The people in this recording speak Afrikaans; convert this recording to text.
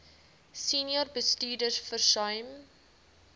senior bestuurders versuim